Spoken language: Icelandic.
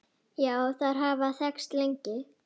Já, þær hafa þekkst lengi.